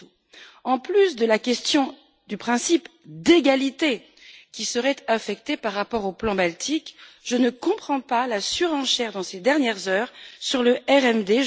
Mato, en plus de la question du principe d'égalité qui serait affecté par rapport au plan baltique, je ne comprends pas la surenchère de ces dernières heures sur le RMD.